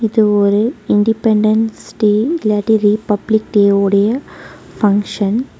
இது ஒரு independence day இல்லாட்டி ரீபப்ளிக் டேவோட பங்ஷன் .